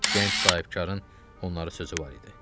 Gənc sahibkarın onlara sözü var idi.